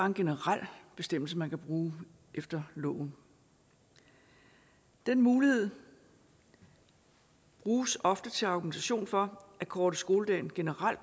en generel bestemmelse man kan bruge efter loven den mulighed bruges ofte til argumentation for at korte skoledagen generelt